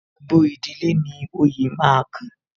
Gbogbo ìdílé ni oyè máa kan